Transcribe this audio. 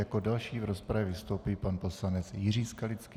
Jako další v rozpravě vystoupí pan poslanec Jiří Skalický.